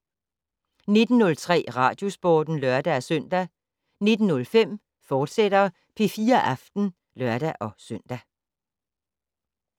19:03: Radiosporten (lør-søn) 19:05: P4 Aften, fortsat (lør-søn)